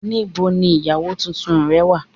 Níbo ni ìyàwó tuntun rẹ̀ wá